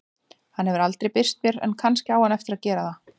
Hann hefur aldrei birst mér en kannski á hann eftir að gera það.